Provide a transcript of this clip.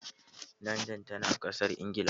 Landan tana Ƙasar Ingila